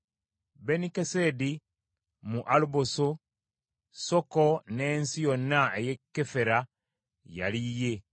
Benikesedi, mu Alubbosi, Soko n’ensi yonna ey’e Kefera yali yiye;